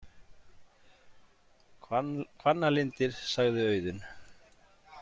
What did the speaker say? Hvannalindir, sagði Auðunn.